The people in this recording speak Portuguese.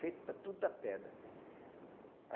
feito da tudo da pedra.